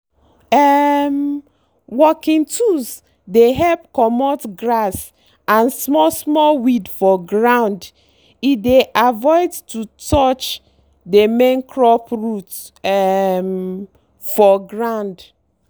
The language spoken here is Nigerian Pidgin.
um working tools dey help comot grass and small-small weed for ground e dey avoid to touch dey main crop root um for ground.